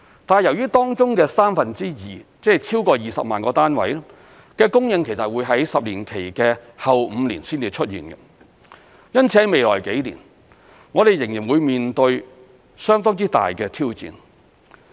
但是，由於當中的三分之二的供應會在10年期的後5年才出現，因此，在未來幾年我們仍然會面對相當之大的挑戰。